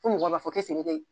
Fɔ mɔgɔw b'a fɔ kɛ